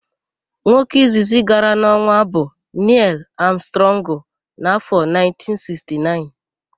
Nwoke izizi gara n'ọnwa bụ Nịel Amstrọngụ n'áfọ̀ 1969.